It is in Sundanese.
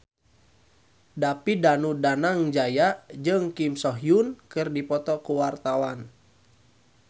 David Danu Danangjaya jeung Kim So Hyun keur dipoto ku wartawan